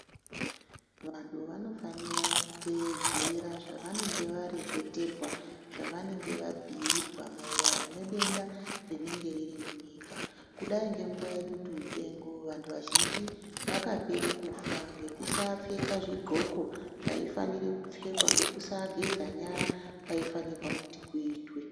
Vanhu vanofanira kuteedzera zvavanenge vareketerwa zvavanenge vabhuirwa maererano nedenda rinenge riri munyika kudai ngenguwa yedutu mupengo vantu vazhinji vakapera kufa ngekusapfeka zvidloko zvaifanira kupfekwa ngekusageza nyara waifanirwa kuti kuitwe.